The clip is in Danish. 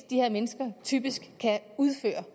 de her mennesker typisk kan udføre